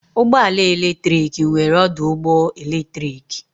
Ụgbọ ala eletrik nwere ọdụ ụgbọ eletrik.